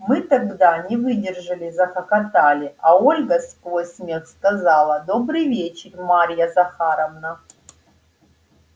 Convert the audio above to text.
мы тогда не выдержали захохотали а ольга сквозь смех сказала добрый вечер марья захаровна